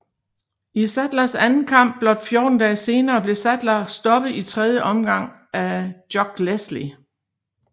I Saddlers anden kamp blot 14 dage senere blev Saddler stoppet i tredje omgang af Jock Leslie